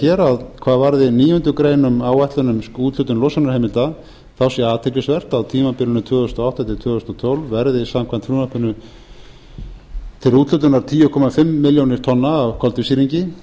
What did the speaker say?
hér hvað varði níundu grein um áætlun um úthlutun losunarheimilda þá sé athyglisvert að á tímabilinu tvö þúsund og átta til tvö þúsund og tólf verði samkvæmt frumvarpinu til úthlutunar tíu komma fimm milljónir tonna af koltvísýringi